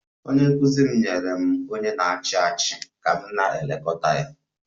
Onye nkụzi m nyere m onye na-achị achị ka m na-elekọta ya